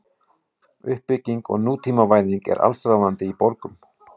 Uppbygging og nútímavæðing er allsráðandi í borgum.